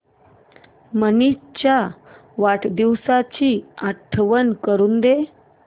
मनीष च्या वाढदिवसाची आठवण करून दे